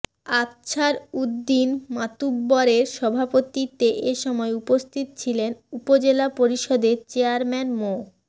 আফছার উদ্দীন মাতুব্বরের সভাপতিত্বে এ সময় উপস্থিত ছিলেন উপজেলা পরিষদের চেয়ারম্যান মো